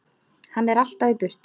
Hann er alltaf í burtu.